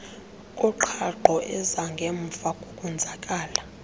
koqhaqho ezangemva kokonzakala